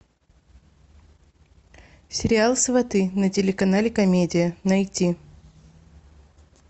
сериал сваты на телеканале комедия найти